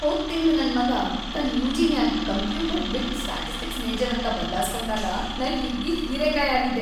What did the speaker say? ಹೋದ್‌ ತಿಂಗ್ಳ್‌ ನನ್‌ ಮಗಾ ತನ್‌ ಯು.ಜಿ.ನ್ಯಾಗ್‌ ಕಂಪ್ಯೂಟರ್‌ ಬಿಟ್‌ ಸ್ಟ್ಯಾಟಿಸ್ಟಿಕ್ಸ್ ಮೇಜರ್‌ ಅಂತ ಬದಲಾಸ್ಕೊಂಡಾಗ ನಾ ಹಿಗ್ಗಿ ಹೀರೀಕಾಯ್ ಆಗಿದ್ದೆ.